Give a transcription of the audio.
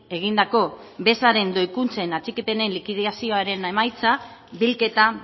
egindako bezaren doikuntzen atxikipenen likidazioaren emaitza bilketa